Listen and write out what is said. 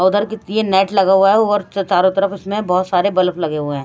उधर ये नेट लगा हुआ है और चारों तरफ इसमें बहुत सारे बल्ब लगे हुए हैं।